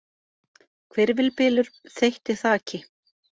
Hvirfilbylur þeytti þaki